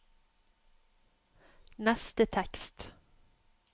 neste tekst